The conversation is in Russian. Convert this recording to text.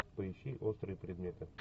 поищи острые предметы